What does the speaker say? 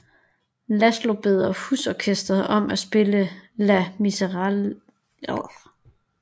Laszlo beder husorkestret om at spille La Marseillaise